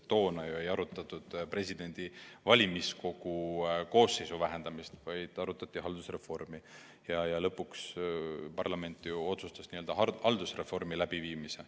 Toona ei arutatud ju valimiskogu koosseisu vähendamist, vaid arutati haldusreformi, mille lõpuks parlament otsustas läbi viia.